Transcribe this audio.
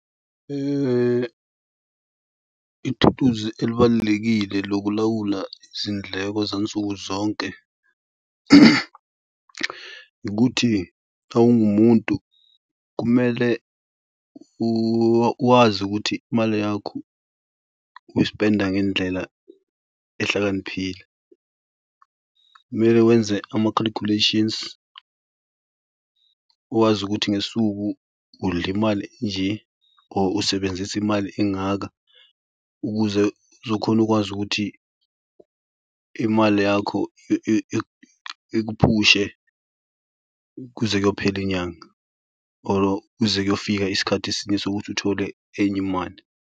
Ithuluzi elibalulekile lokulawula izindleko zansuku zonke ukuthi xa ungumuntu, kumele uwazi ukuthi imali yakho uyispenda ngendlela ehlakaniphile. Kumele wenze ama-calculations uwazi ukuthi ngesuku udlimali enje or usebenzise imali engaka ukuze uzokhona ukwazi ukuthi imali yakho ikuphushe kuze kuyophela inyanga or kuze kuyofika isikhathi esinye sokuthi uthole enye imali.